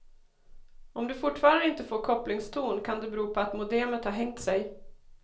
Om du fortfarande inte får kopplingston kan det bero på att modemet har hängt sig.